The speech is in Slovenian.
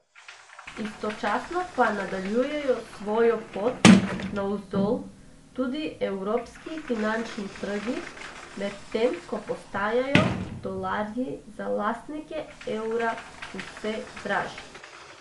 Istočasno pa nadaljujejo svojo pot navzdol tudi evropski finančni trgi, medtem ko postajajo dolarji za lastnike evra vse dražji.